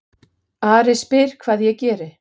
Ari spyr hvað ég geri.